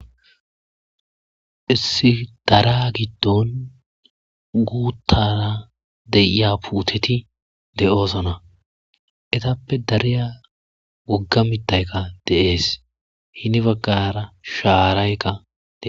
Issi dara giddon guuttara deiya puuteti de7oosana etappe dariya wogga mittayka deees hini baggara shaaraykkae